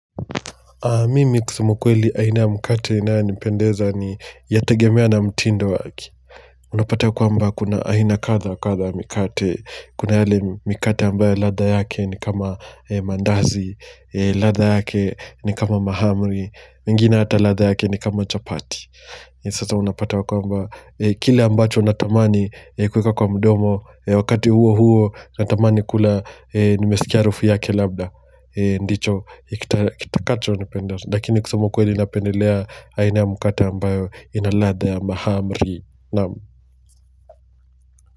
Mimi kusema kweli aina ya mkate inayonipendeza ni yategemea na mtindo wake. Unapata kwamba kuna aina kadha kadha ya mikate. Kuna yale mikate ambayo latha yake ni kama ya mandazi, latha yake ni kama mahamri, nyingine hata latha yake ni kama chapati. Sasa unapata ya kwamba kile ambacho natamani kuweka kwa mdomo, wakati huo huo natamani kula nimesikia harufu yake labda. Ndicho kitakacho nipendeza Lakini kusema kweli napendelea aina ya mkate ambayo inaladha ya mahamri Naam.